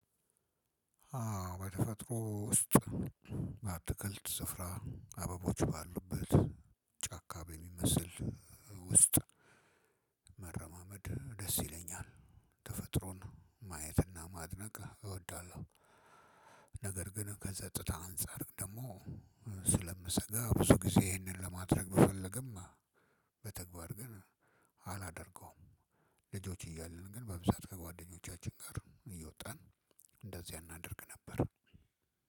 አዎ በተፈጥሮ ውስጥ በአትክልት ስፍራ አበቦች ባሉበት ጫካ በሚመስል ውስጥ መረማመድ ደስ ይለኛል ተፈጥሮን ማየትና ማድነቅ እወዳለሁ። ነገር ግን ከጸጥታ አንፃር ደግሞ ስለምሰጋ ብዙ ጊዜ ይህንን ለማድረግ ብፈልግም በተግባር ግን አላደርገውም። ልጆች እያልን ግን በብዛት ከጓደኞቻችን ጋር እየወጣን እንደዚያ አናደርግ ነበር።